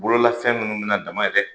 bololafɛn minnu bɛ na dama ye dɛ!